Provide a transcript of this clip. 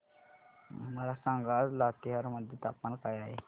मला सांगा आज लातेहार मध्ये तापमान काय आहे